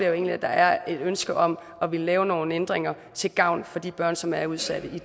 egentlig at der er et ønske om at ville lave nogle ændringer til gavn for de børn som er udsatte i og